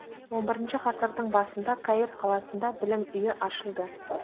он бірінші ғасырдың басында каир қаласында білім үйі ашылды